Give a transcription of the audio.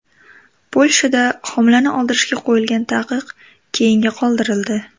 Polshada homilani oldirishga qo‘yilgan taqiq keyinga qoldirildi.